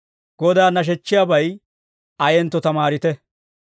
Godaa nashechchiyaabay ayentto tamaarite.